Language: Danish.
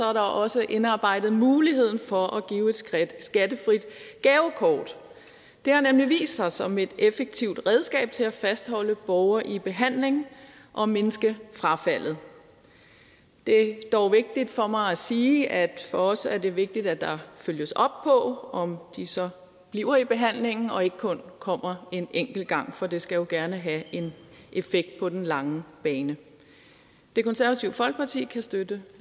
er der også indarbejdet muligheden for at give et skattefrit gavekort det har nemlig vist sig som et effektivt redskab til at fastholde borgere i behandling og mindske frafaldet det er dog vigtigt for mig at sige at for os er det vigtigt at der følges op på om de så bliver i behandlingen og ikke kun kommer en enkelt gang for det skal jo gerne have en effekt på den lange bane det konservative folkeparti kan støtte